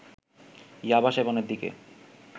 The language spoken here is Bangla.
ইয়াবা সেবনের দিকে